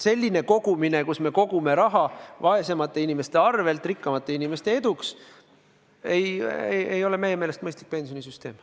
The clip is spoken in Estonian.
Selline kogumine, kus me kogume raha vaesemate inimeste arvel rikkamate inimeste edu nimel, ei ole meie meelest mõistlik pensionisüsteem.